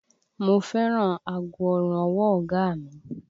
Mo fẹ́ràn aago ọrùn ọwọ́ ọ̀gá a mi